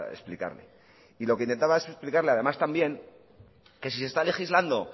explicarle y lo que intentaba es explicarle además también que si se está legislando